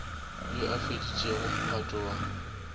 yo a feditšego mphato wa